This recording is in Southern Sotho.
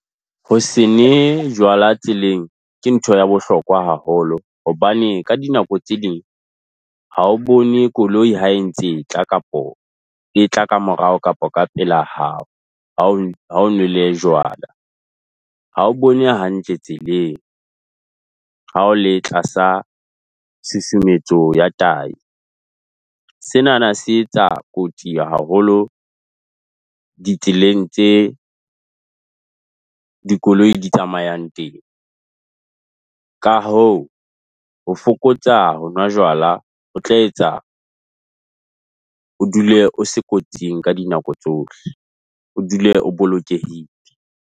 Ho se ne jwala tseleng, ke ntho ya bohlokwa haholo hobane, ka dinako tse ding ha o bone koloi ha e ntse e tla kapo etla ka morao kapo ka pela ha o ha o nwele jwala. Ha o bone hantle tseleng ha o le tlasa susumetso ya tahi. Senana se etsa kotsi haholo ditseleng tse dikoloi di tsamaeang teng ka ho ho fokotsa ho nwa jwala ho tla etsa o dule o se kotsing ka dinako tsohle o dule o bolokehile.